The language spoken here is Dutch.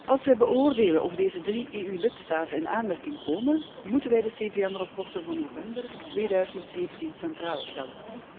Als wij beoordelen of deze drie EU lidstaten in aanmerking komen, moeten wij de CVM rapporten van november 2017 centraal stellen.